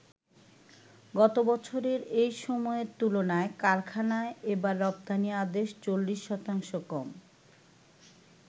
গত বছরের এই সময়ের তুলনায় কারখানায় এবার রপ্তানি আদেশ ৪০ শতাংশ কম।